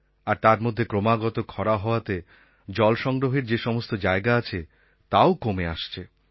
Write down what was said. আর তার মধ্যে ক্রমাগত খরা হওয়াতে জল সংগ্রহের যে সমস্ত জায়গা আছে তাও কমে আসছে